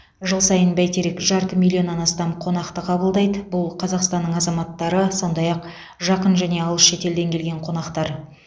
жыл сайын бәйтерек жарты миллионнан астам қонақты қабылдайды бұл қазақстанның азаматтары сондай ақ жақын және алыс шетелден келген қонақтар